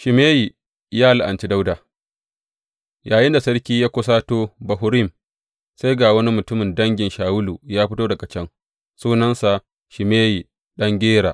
Shimeyi ya la’anci Dawuda Yayinda Sarki Dawuda ya kusato Bahurim, sai ga wani mutumin dangin Shawulu ya fito daga can, sunansa Shimeyi ɗan Gera.